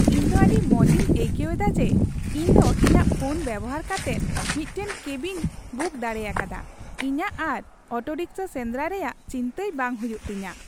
ᱤᱧ ᱫᱚ ᱟᱹᱰᱤ ᱢᱚᱡᱤᱧ ᱟᱹᱭᱠᱟᱹᱣᱮᱫᱟ ᱡᱮ ᱤᱧ ᱫᱚ ᱤᱧᱟᱜ ᱯᱷᱳᱱ ᱵᱮᱵᱚᱦᱟᱨ ᱠᱟᱛᱮᱫ ᱢᱤᱫᱴᱟᱝ ᱠᱮᱵᱤᱧ ᱵᱩᱠ ᱫᱟᱲᱮ ᱟᱠᱟᱫᱟ ᱾ ᱤᱧᱟᱜ ᱟᱨ ᱚᱴᱳᱨᱤᱠᱥᱟ ᱥᱮᱸᱫᱨᱟᱭ ᱨᱮᱭᱟᱜ ᱪᱤᱱᱛᱟᱹᱭ ᱵᱟᱝ ᱦᱩᱭᱩᱜ ᱛᱤᱧᱟ ᱾